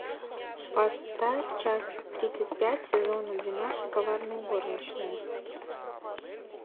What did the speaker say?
поставь часть тридцать пять сезона двенадцать коварные горничные